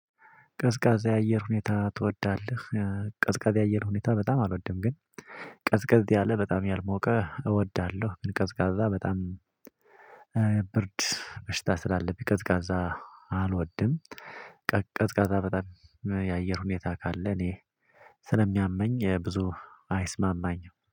ቀዝቃዛ የአየር ሁኔታ ትወዳለህ? ቀዝቃዛ የአየር ሁኔታ በጣም አልወድም። ግን ቀዝቃዝ ያለ በጣም ያልሞቀ እወዳለሁ ብል ቀዝቃዛ በጣም። ብርድ በሽታ ስላለብኝ ቀዝቃዛ አልወድም። ቀዝቃዛ በጣም የአየር ሁኔታ ካለ እኔ ስለሚያመኝ ብዙ አይስማማኝም